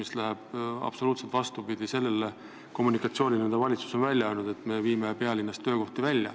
See läheb absoluutselt vastuollu selle kommunikatsiooniga, mis on valitsusest tulnud, et me viime töökohti pealinnast välja.